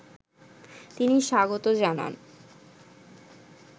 তিনি স্বাগত জানান